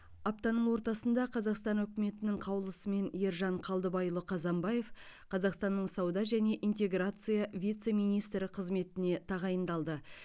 аптаның ортасында қазақстан үкіметінің қаулысымен ержан қалдыбайұлы қазанбаев қазақстанның сауда және интеграция вице министрі қызметіне тағайындалды